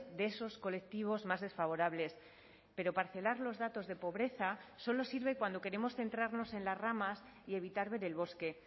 de esos colectivos más desfavorables pero parcelar los datos de pobreza solo sirve cuando queremos centrarnos en las ramas y evitar ver el bosque